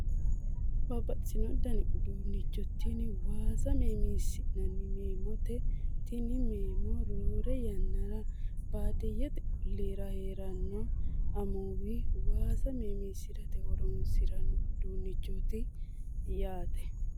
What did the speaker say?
Babbaxxino dani uduunnicho tini waasa meemiissi'nanni meeemoote tini meemo roore yannara baadiyyete olliira heeranno amuwi waasa meemiissirate horonsiranno uduunnichooti yaate